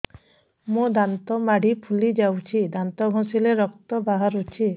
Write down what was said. ମୋ ଦାନ୍ତ ମାଢି ଫୁଲି ଯାଉଛି ଦାନ୍ତ ଘଷିଲେ ରକ୍ତ ବାହାରୁଛି